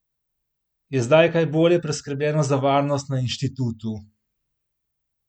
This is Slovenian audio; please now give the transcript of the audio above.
Je zdaj kaj bolje poskrbljeno za varnost na inštitutu?